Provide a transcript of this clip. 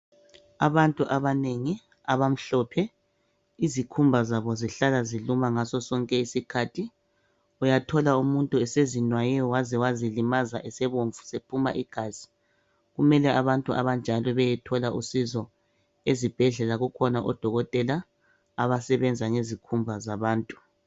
abantu abanengi abamhlophe izikhumba zabo zihlala ziluma ngaso sonke isikhathi uyathola umuntu esezinwaye waze wazilimaza esebomvu esephuma igazi kumele abantu abanjalo beyethola usizo ezibhedlela kukhona odokotela absebenza ngezikhumba zabantu.